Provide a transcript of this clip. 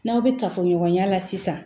N'aw bɛ kafoɲɔgɔnya la sisan